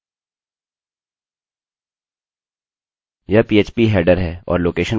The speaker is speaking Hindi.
यह पीएचपीphp हेडरheader है और लोकेशनlocation पर जाने के लिए हम हेडरheaderफंक्शनfuntion का उपयोग कर रहे हैं